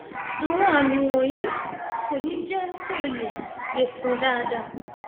àwọn àmì wọnyí kò ní jẹ kó lè lè sùn dáadáa